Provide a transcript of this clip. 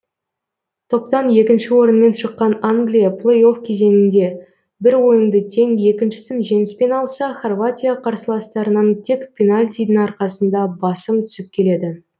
топтан екіншіші орынмен шыққан англия плей офф кезеңінде бір ойынды тең екіншісін жеңіспен алса хорватия қарсыластарынан тек пенальтидің арқасында басым түсіп келеді